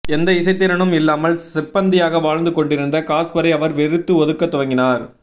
எந்த இசைத்திறனும் இல்லாமல் சிப்பந்தியாக வாழ்ந்து கொண்டிருந்த காஸ்பரை அவர் வெறுத்து ஒதுக்க துவங்கினார்